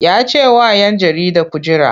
Ya ce wa ‘yan jarida ku jira!